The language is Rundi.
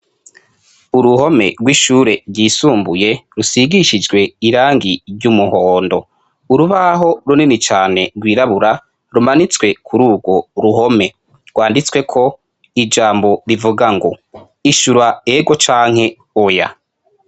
uruhome rw'ishure ryisumbuye rusigishijwe irangi ry'umuhondo urubaho runini cyane rwirabura rumanitswe kuri urwo ruhome rwanditswe ko ijambo rivuga ngo ishura ego canke oya